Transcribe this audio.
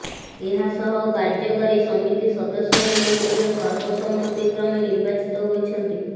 ଏହାସହ କାର୍ଯ୍ୟକାରୀ ସମିତି ସଦସ୍ୟମାନେ ମଧ୍ୟ ସର୍ବସମ୍ମତି କ୍ରମେ ନିର୍ବାଚିତ ହୋଇଛନ୍ତି